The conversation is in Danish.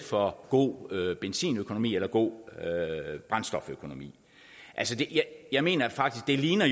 for god benzinøkonomi eller god brændstoføkonomi jeg mener faktisk det ligner